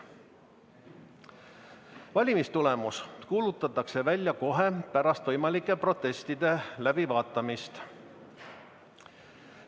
Valimistulemus kuulutatakse välja kohe pärast võimalike protestide läbivaatamist.